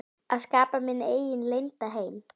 Að skapa minn eigin leynda heim.